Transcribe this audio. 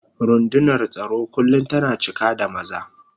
Rundunar tsaro kullum tana cika da maza.